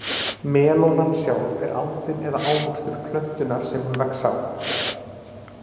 Melónan sjálf er aldin eða ávöxtur plöntunnar sem hún vex á.